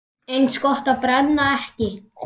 Eins gott að brenna ekki!